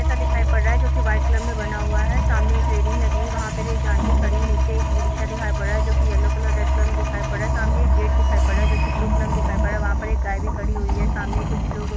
एसा दिखाई पर रहा है जो की व्हाइट कलर मे बना हुआ हैं सामने एक रेलिंग लगी हुई हैं वहां एक आंटी खड़ी हुई हैंनीचे एक ई-रिक्शा दिखाई पर रहा हैं जो की येलो कलर रेड़ कलर मे दिखाई पर रहा हैं सामने एक गेट दिखाई पर रहा है जो की ब्लू कलर मे दिखाई पड़ रहा हैं वहां पर एक गाय भी खड़ी हुई हैं सामने कुछ लोग--